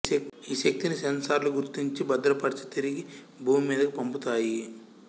ఈశక్తిని సెన్సర్లు గుర్తించి భద్రపరిచి తిరిగి భూమి మీదకు పంపుతాయి